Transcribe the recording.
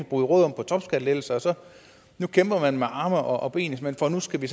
bruge råderum på topskattelettelser nu kæmper man med arme og og ben for nu skal vi